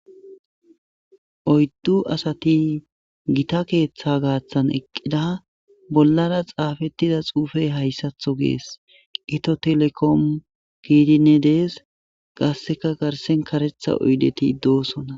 Oyddu asati gita keeththa gaaththan eqqida bollara xaafettida xuufey hayssatho gees ito telekomu kiidine dees qasseka garsen karetha uydeti doosona